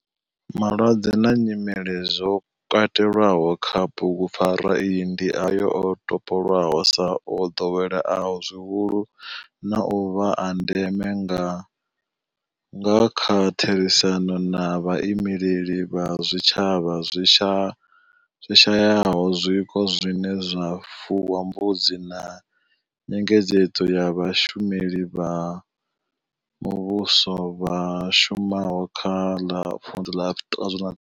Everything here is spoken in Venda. Malwadze na nyimele zwo katelwaho kha bugupfarwa iyi ndi ayo o topolwaho sa o ḓoweleaho zwihulu na u vha a ndeme nga kha therisano na vhaimeleli vha zwitshavha zwi shayaho zwiko zwine zwa fuwa mbudzi na nyengedzedzo ya vhashumeli vha muvhuso vha shumaho kha ḽa Vunḓu ḽa.